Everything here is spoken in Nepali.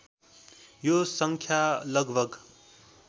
यो सङ्ख्या लगभग